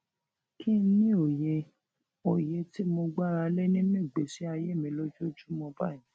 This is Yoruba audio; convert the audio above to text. kí n ní òye òye tí mo gbára lé nínú ìgbésí ayé mi ojoojúmó báyìí